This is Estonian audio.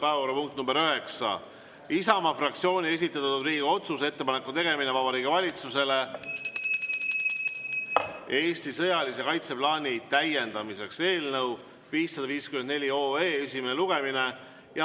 Päevakorrapunkt nr 9, Isamaa fraktsiooni esitatud Riigikogu otsuse "Ettepaneku tegemine Vabariigi Valitsusele Eesti sõjalise kaitseplaani täiendamiseks" eelnõu 554 esimene lugemine.